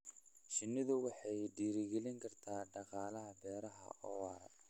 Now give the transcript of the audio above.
Shinnidu waxay dhiirigelin kartaa dhaqaalaha beeraha oo waara.